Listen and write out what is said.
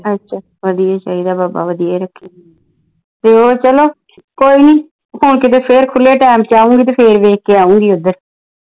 ਅੱਛਾ ਵਧੀਆ ਚਾਹੀਦਾ ਬਾਬਾ ਵਧੀਆ ਈ ਰੱਖੇ ਤੇ ਓ ਚਲੋ ਕੋਈ ਨਹੀਂ ਹੁਣ ਫਿਰ ਖੁਲੇ ਟਾਇਮ ਤੇ ਆਉਗੀ ਫਿਰ ਵੇਖ ਕੇ ਆਉਗੀ ਓਧਰ